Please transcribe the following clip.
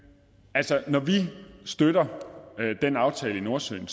altså når vi støtter den aftale i nordsøen